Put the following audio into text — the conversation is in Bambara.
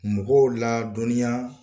Mɔgɔw ladɔnni yan